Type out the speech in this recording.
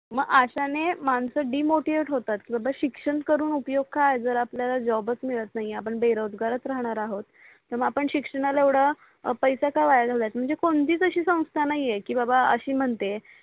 मग अश्याने मानस DEMOTIVATE होतात की बाबा शिक्षण करून उपयोग काय आहे जर आपल्या ला जॉबच मिडत नाही आपण बेरोजगरच राहणार आहो तर मग आपण शिक्षणाला येवडा पैसा का वाया घालाचा म्हणजे कोणतीच असि संथा नाही आहे की बाबा असि म्हणते